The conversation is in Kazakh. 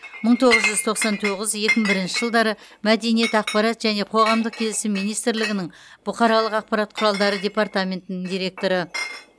мың тоғыз жүз тоқсан тоғыз екі мың бірінші жылдары мәдениет ақпарат және қоғамдық келісім министрлігінің бұқаралық ақпарат құралдары департаментінің директоры